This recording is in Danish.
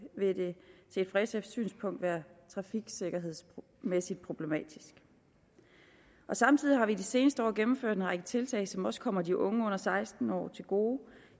vil det set fra sfs synspunkt være trafiksikkerhedsmæssigt problematisk samtidig har vi de seneste år gennemført en række tiltag som også kommer de unge under seksten år til gode